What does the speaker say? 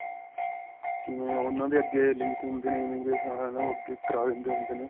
ਕਿਵੇਂ ਉਨ੍ਹਾਂ ਦੇ ਅੱਗੇ link ਹੁੰਦੇ ਨੇ, immigration ਵਾਲਿਆਂ ਨਾਲ ਓਹ ਅੱਗੇ ਕਰਾਂ ਦਿੰਦੇ ਹੁੰਦੇ ਨੇ.